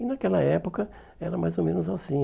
E naquela época era mais ou menos assim.